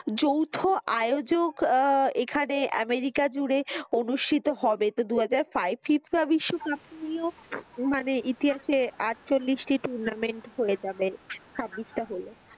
যৌথ আয়োজক আহ এখানে আমেরিকা জুড়ে অনুষ্ঠিত হবে তো দু হাজার FIFA বিশ্বকাপ মানে ইতিহাসে আটচল্লিশ টি tournament হয়ে যাবে ছাব্বিশ টা হলে ।